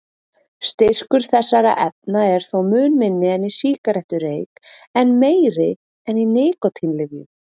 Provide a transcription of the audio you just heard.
Styrkur þessara efna er þó mun minni en í sígarettureyk en meiri en í nikótínlyfjum.